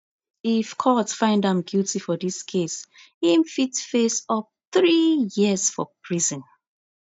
if court find am guilty for dis case im fit face up three years for prison